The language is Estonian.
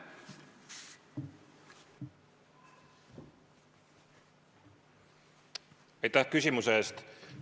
Aitäh küsimuse eest!